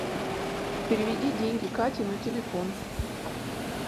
переведи деньги кате на телефон